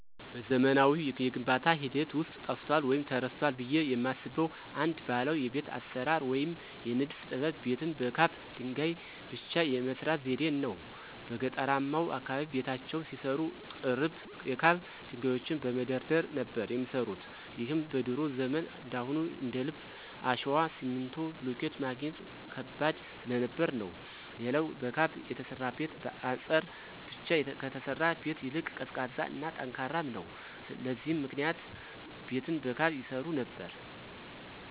በዘመናዊው የግንባታ ሂደት ውስጥ ጠፍቷል ወይም ተረስቷል ብየ የማስበው አንድ ባህላዊ የቤት አሰራር ወይም የንድፍ ጥበብ ቤትን በካብ ድንገይ ብቻ የመስራት ዘዴን ነው። በገጠርማው አካባቢ ቤታቸውን ሲሰሩ ጥርብ የካብ ድንጋዮችን በመደርደር ነበር የሚሰሩት ይህም በድሮ ዘመን እንዳሁኑ እንደልብ አሸዋ፣ ሲሚንቶ፣ ብሎኬት ማግኘት ከባድ ስለነበር ነው። ሌላው በካብ የተሰራ ቤት በአጸር ብቻ ከተሰራ ቤት ይልቅ ቀዝቃዛ እና ጠንካራም ነው። ለዚህም ምክንያት ቤትን በካብ ይሰሩ ነበር።